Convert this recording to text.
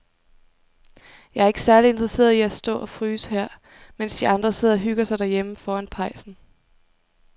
Jeg er ikke særlig interesseret i at stå og fryse her, mens de andre sidder og hygger sig derhjemme foran pejsen.